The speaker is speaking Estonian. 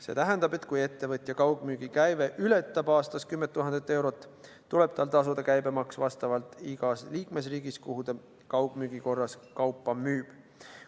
See tähendab, et kui ettevõtja kaugmüügikäive ületab aastas 10 000 eurot, tuleb tal tasuda käibemaks igas liikmesriigis, kuhu ta kaugmüügi korras kaupa müüb.